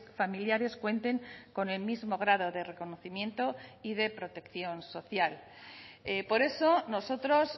familiares cuenten con el mismo grado de reconocimiento y de protección social por eso nosotros